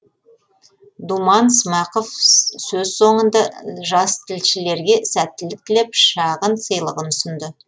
думан смақов сөз соңында жастілшілерге сәттілік тілеп шағын сыйлығын ұсынды